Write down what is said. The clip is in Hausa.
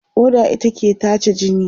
ƙoda ita ke tace jini.